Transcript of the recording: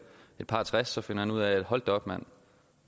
et par og tres finder han ud af hold da op